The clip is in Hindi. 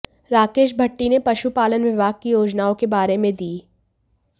राकेश भट्टी ने पशु पालन विभाग की योजनाओं के बारे में दी